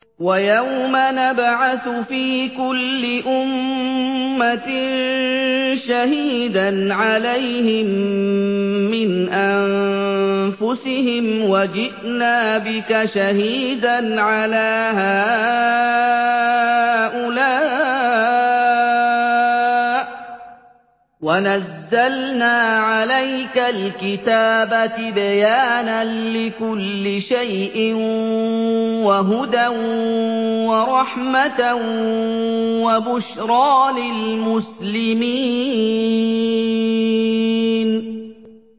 وَيَوْمَ نَبْعَثُ فِي كُلِّ أُمَّةٍ شَهِيدًا عَلَيْهِم مِّنْ أَنفُسِهِمْ ۖ وَجِئْنَا بِكَ شَهِيدًا عَلَىٰ هَٰؤُلَاءِ ۚ وَنَزَّلْنَا عَلَيْكَ الْكِتَابَ تِبْيَانًا لِّكُلِّ شَيْءٍ وَهُدًى وَرَحْمَةً وَبُشْرَىٰ لِلْمُسْلِمِينَ